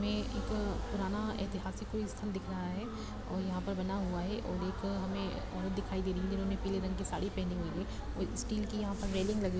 हमें एक पुराना ऐतिहासिक कोई स्थल दिख रहा है और यहाँ पर बना हुआ हैं और एक हमें औरत दिखाई दे रही है जिन्होंने पीले रंग की साड़ी पहनी हुई है और स्टील की यहाँ पर रैलिंग लगी हुई--